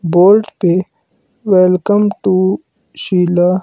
board पे welcome to Sheila--